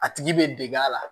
A tigi bɛ deg'a la